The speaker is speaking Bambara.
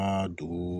An ka dugu